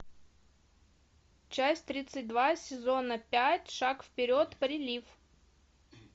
часть тридцать два сезона пять шаг вперед прилив